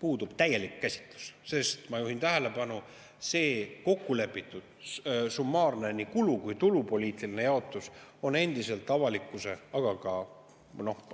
Puudub täielik käsitlus, sest – ma juhin tähelepanu – see kokku lepitud summaarne nii kulu- kui tulupoliitiline jaotus on endiselt avalikkuse eest, aga ka